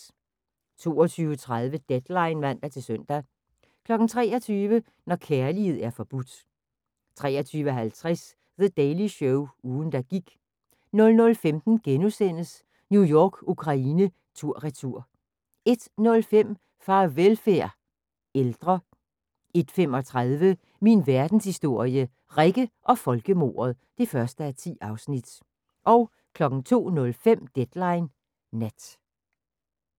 22:30: Deadline (man-søn) 23:00: Når kærlighed er forbudt 23:50: The Daily Show – ugen der gik 00:15: New York-Ukraine tur/retur * 01:05: Farvelfærd – Ældre 01:35: Min Verdenshistorie – Rikke og folkemordet (1:10) 02:05: Deadline Nat